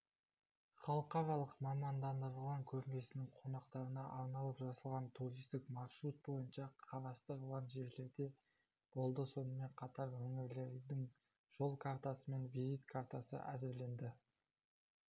халықаралық мамандандырылған көрмесінің қонақтарына арналып жасалған туристік маршрут бойынша қарастырылған жерлерде болды сонымен қатар өңірлердің жол картасы мен визит картасы әзірленді